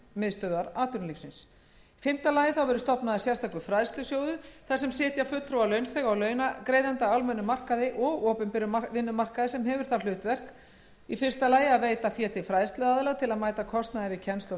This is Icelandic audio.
fræðslumiðstöðvar atvinnulífsins fimmta stofnaður verður sérstakur fræðslusjóður þar sem sitja fulltrúar launþega og launagreiðenda á almennum og opinberum vinnumarkaði sem hefur það hlutverk að a veita fé til fræðsluaðila til að mæta kostnaði við kennslu